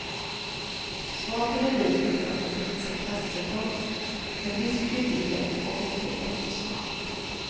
Smaken är rik och uppfattas inte som knastertorr, med viss kryddighet och en fin eftersmak.